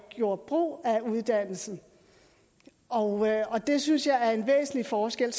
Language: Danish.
gjorde brug af uddannelsen og det synes jeg er en væsentlig forskel